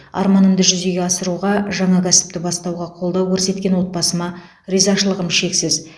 арманымды жүзеге асыруға жаңа кәсіпті бастауға қолдау көрсеткен отбасыма ризашылығым шексіз